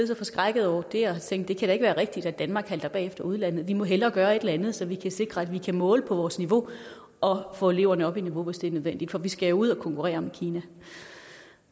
så forskrækkede over det og tænkte kan være rigtigt at danmark halter bagefter udlandet vi må hellere gøre et eller andet så vi kan sikre at vi kan måle på vores niveau og få eleverne op i niveau hvis det er nødvendigt for vi skal jo ud at konkurrere med kina